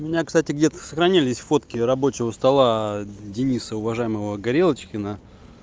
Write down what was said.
у меня кстати где-то сохранились фотки рабочего стола дениса уважаемого горелочкина